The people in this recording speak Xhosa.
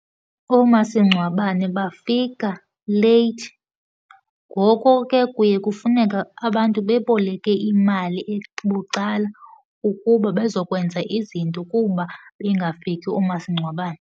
Oomasingcwabane bafika late, ngoko ke kuye kufuneka abantu beboleke imali bucala ukuba bezokwenza izinto kuba bengafiki oomasingcwabane.